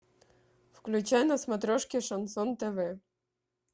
включай на смотрешке шансон тв